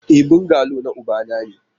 E, bungalow na ubana ne